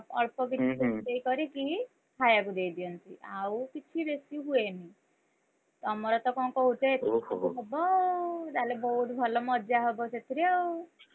ଅଳ୍ପ କିଛି ରୋଷେଇ କରିକି ଖାଇଆକୁ ଦେଇଦିଅନ୍ତି, ଆଉ କିଛି ବେଶୀ ହୁଏନି ତମରତ କଣ କହୁଥିଲେ cake କଟା ହବ ଆଉ ତାହେଲେ ବୋହୁତ ଭଲ ମଜା ହବ ସେଥିରେ ଆଉ